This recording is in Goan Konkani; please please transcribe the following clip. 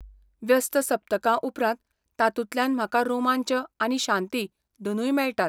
व्यस्त सप्तका उपरांत तातूंतल्यान म्हाका रोमांच आनी शांती दोनूय मेळटात.